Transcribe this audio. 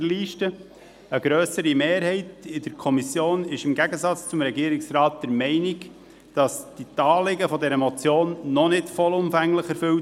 Eine grössere Kommissionsmehrheit ist im Gegensatz zum Regierungsrat der Meinung, die Anliegen dieser Motion seien noch nicht vollumfänglich erfüllt.